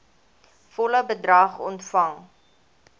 volle bedrag ontvang